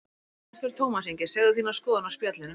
Hvert fer Tómas Ingi, segðu þína skoðun á Spjallinu